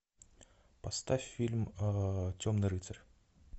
поставь фильм темный рыцарь